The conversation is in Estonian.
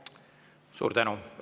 Suur tänu!